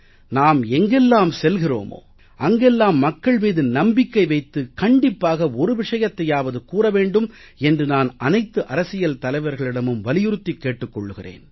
நாம் எங்கெல்லாம் செல்கிறோமோ அங்கெல்லாம் மக்கள் மீது நம்பிக்கை வைத்து கண்டிப்பாக ஒரு விஷயத்தையாவது கூற வேண்டும் என்று நான் அனைத்து அரசியல் தலைவர்களிடமும் வலியுறுத்திக் கேட்டுக் கொள்கிறேன்